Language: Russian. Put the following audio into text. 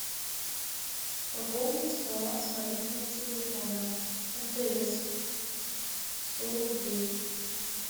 пополнить баланс мобильного телефона мтс сто рублей